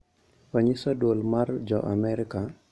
Onyiso duol mar jo Amerka